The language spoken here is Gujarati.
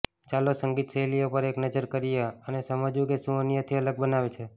ચાલો સંગીત શૈલીઓ પર એક નજર કરીએ અને સમજવું કે શું અન્યથી અલગ બનાવે છે